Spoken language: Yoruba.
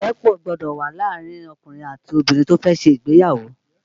Ìrẹ́pọ̀ gbọ́dọ̀ wà láàrin ọkùnrin àti obìnrin tí ó fẹ́ ṣe ìgbéyàwó